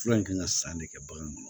Fura in kan ka san de kɛ bagan ma